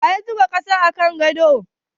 Waya zuba ƙasa a kan gado?